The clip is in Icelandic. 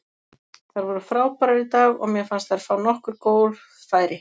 Þær voru frábærar í dag og mér fannst þær fá nokkur góð færi.